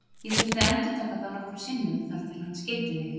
Ég þurfti að endurtaka það nokkrum sinnum þar til hann skildi mig.